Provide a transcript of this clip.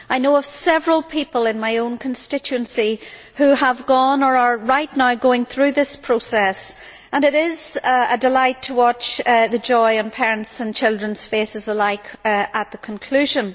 I know of several people in my own constituency who have gone, or who are right now going, through this process and it is a delight to watch the joy in parents' and children's faces alike at the conclusion.